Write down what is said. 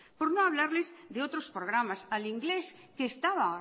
por no hablarles de otros programas al inglés que estaba